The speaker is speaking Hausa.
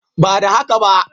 Ba da haka ba